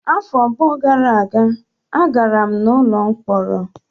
Afọ abụọ gara aga, agara m n'ụlọ mkpọrọ.